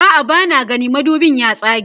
a'a bana gani madubin ya tsage